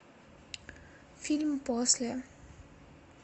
фильм после